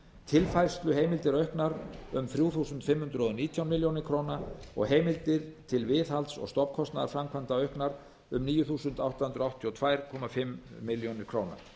tilfærsluheimildir auknar um þrjú þúsund fimm hundruð og nítján milljónum króna og heimildir til viðhalds og stofnkostnaðarframkvæmda auknar um níu þúsund átta hundruð áttatíu og tvö og hálfa milljón króna